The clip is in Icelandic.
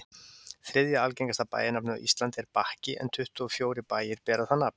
þriðja algengasta bæjarnafnið á íslandi er bakki en tuttugu og fjórir bæir bera það nafn